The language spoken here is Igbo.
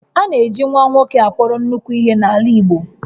A na-eji nwa nwoke akpọrọ nnukwu ihe n'ala Igbo